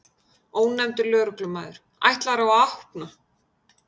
Ónefndur lögreglumaður: Ætlarðu að opna?